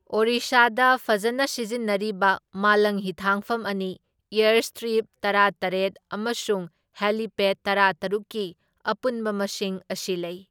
ꯑꯣꯔꯤꯁꯥꯗ ꯐꯖꯅ ꯁꯤꯖꯤꯟꯅꯔꯤꯕ ꯃꯥꯂꯪ ꯍꯤꯊꯥꯡꯐꯝ ꯑꯅꯤ, ꯑꯦꯔꯁꯇ꯭ꯔꯤꯞ ꯇꯔꯥꯇꯔꯦꯠ ꯑꯃꯁꯨꯡ ꯍꯦꯂꯤꯄꯦꯠ ꯇꯔꯥꯇꯔꯨꯛꯀꯤ ꯑꯄꯨꯟꯕ ꯃꯁꯤꯡ ꯑꯁꯤ ꯂꯩ꯫